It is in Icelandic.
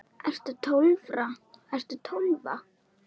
Ertu Tólfa?